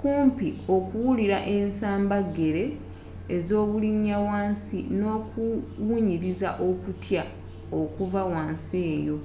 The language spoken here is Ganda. kumpi okuwulira ensamba gele z'obulinya wansi n'okuwunyiriza okutya okuva wansi eyo